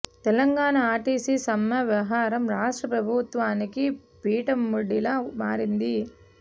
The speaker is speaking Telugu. తెలంగాణ ఆర్టీసీ సమ్మె వ్యవహారం రాష్ట్ర ప్రభు త్వానికి పీటముడిలా మారింది